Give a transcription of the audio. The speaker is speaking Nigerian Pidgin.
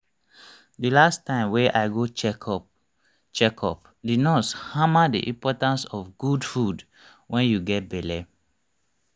the last time wey i go check up check up the nurse hammer the importance of good food wen you get belle